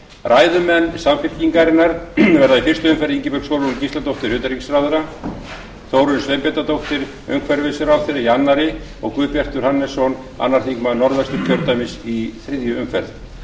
ræðumenn samfylkingarinnar verða í fyrstu umferð ingibjörg sólrún gísladóttir utanríkisráðherra þórunn sveinbjarnardóttir umhverfisráðherra í öðru og guðbjartur hannesson öðrum þingmönnum norðvesturkjördæmis í þriðju umferð